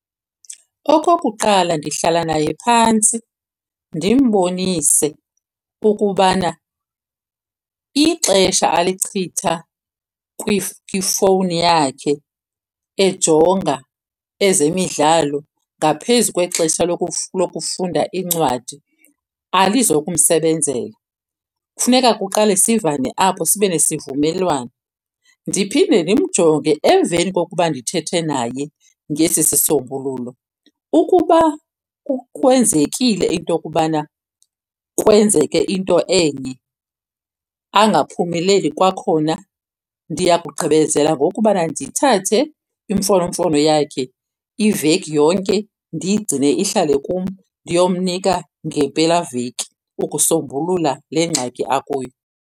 Okokuqala, ndihlala naye phantsi ndimbonise ukubana ixesha alichitha kwifowuni yakhe ejonga ezemidlalo ngaphezu kwexesha lokufunda iincwadi alizokumsebenzela. Funeka kuqale sivane apho sibe nesivumelwano. Ndiphinde ndimjonge emveni kokuba ndithethe naye ngesi sisombululo. Ukuba kwenzekile into yokubana kwenzeke into enye angaphumeleli kwakhona, ndiya kugqibezela ngokubana ndithathe imfonomfono yakhe iveki yonke ndiyigcine ihlale kum, ndiyomnika ngempelaveki ukusombulula le ngxaki akuyo.